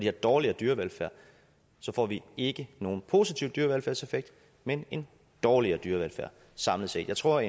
er dårligere dyrevelfærd så får vi ikke nogen positiv dyrevelfærdseffekt men en dårligere dyrevelfærd samlet set jeg tror